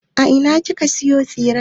A ina ka sayo tsiren ne?